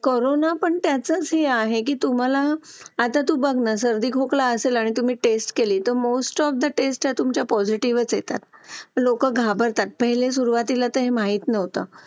Late होतं सर्दी खोकला हा एक वाढलं आहे. एका मुलाला क्लास पूर्ण क्लास त्याच्यामध्ये वाहून निघत निघत असतो असं म्हणायला हरकत नाही. हो डेंग्यू, मलेरिया यासारखे आजार पण ना म्हणजे लसीकरण आहे. पूर्ण केले तर मला नाही वाटत आहे रोप असू शकतेपुडी लसीकरणाबाबत थोडं पालकांनी लक्ष दिलं पाहिजे की आपला मुलगा या वयात आलेला आहे. आता त्याच्या कोणत्या लसी राहिलेले आहेत का?